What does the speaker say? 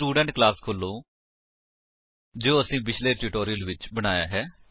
student class ਖੋਲੋ ਜੋ ਅਸੀਂ ਪਿਛਲੇ ਟਿਊਟੋਰਿਅਲ ਵਿੱਚ ਬਣਾਇਆ ਹੈ